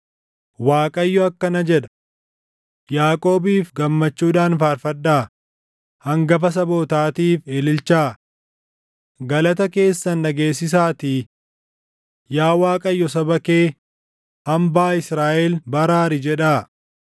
Waaqayyo akkana jedha: “Yaaqoobiif gammachuudhaan faarfadhaa; hangafa sabootaatiif ililchaa. Galata keessan dhageessisaatii, ‘Yaa Waaqayyo saba kee, hambaa Israaʼel baraari’ jedhaa.